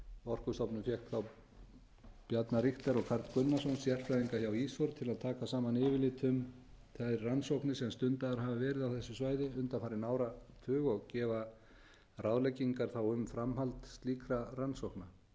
orkustofnun fékk þá bjarna richter og karl gunnarsson sérfræðinga hjá ísor til að taka saman yfirlit um þær rannsóknir sem stundaðar hafa verið á þessu svæði undanfarinn áratug og gefa ráðleggingar þá um framhald slíkra rannsókna skýrslan hefur verið birt eins